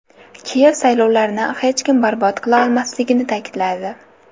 Kiyev saylovlarni hech kim barbod qila olmasligini ta’kidladi.